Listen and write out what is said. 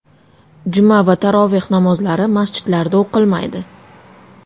Juma va taroveh namozlari masjidlarda o‘qilmaydi.